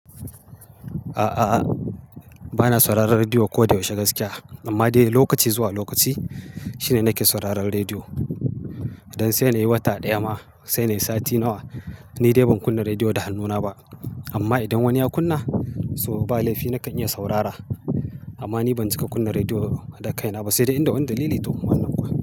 A'a, a'a, bana sauraron rediyo koda yaushe gaskiya. Amma dai lokaci zuwa lokaci shine nake sauraron rediyo. Dan sai nayi wata ɗaya ma, sai nayi sati nawa, ni dai ban kunna rediyo da hannuna ba. Amma idan wani ya kunna, so ba laifi nakan iya saurara. Amma ni ban cika kunna rediyo da kaina ba saide inda wani dalili toh wannan kuwa.